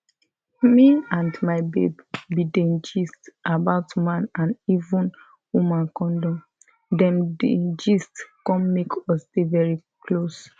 me and my babe bin dey gist about man and even woman condom dem di gist come make us dey very close